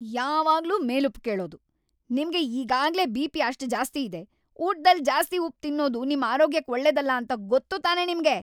ಯಾವಾಗ್ಲೂ ಮೇಲುಪ್ಪು ಕೇಳೋದು! ನಿಮ್ಗೆ ಈಗಾಗ್ಲೇ ಬಿ.ಪಿ. ಅಷ್ಟ್‌ ಜಾಸ್ತಿ ಇದೆ, ಊಟ್ದಲ್ಲಿ ಜಾಸ್ತಿ ಉಪ್ಪ್‌ ತಿನ್ನೋದು ನಿಮ್‌ ಆರೋಗ್ಯಕ್ ಒಳ್ಳೇದಲ್ಲ ಅಂತ ಗೊತ್ತು ತಾನೇ ನಿಮ್ಗೆ?!